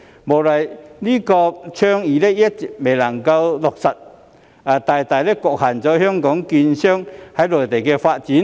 無奈的是，這項倡議一直未能落實，大大局限了香港券商在內地的發展。